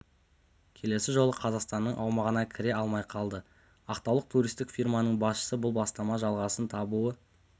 келесі жолы қазақстанның аумағына кіре алмай қалды ақтаулық туристік фирманың басшысы бұл бастама жалғасын табуы